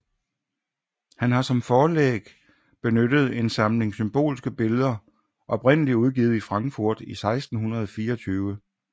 Han har som forlæg benyttet en samling symbolske billeder oprindelig udgivet i Frankfurt i 1624